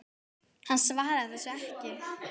Hann svaraði þessu ekki.